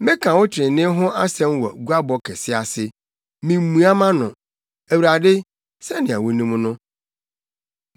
Meka wo trenee ho asɛm wɔ guabɔ kɛse ase; mimmua mʼano, Awurade, sɛnea wunim no.